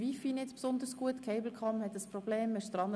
Die Cablecom ist mit der Behebung des Problems beschäftigt.